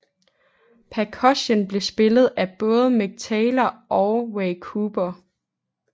Perkussion blev spillet af både Mick Taylor og Ray Cooper